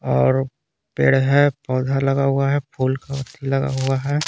और पेड़ है पौधा लगा हुआ है फूल का लगा हुआ है।